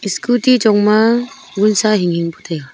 scooty chong ma vunsa hing hing pu taiga.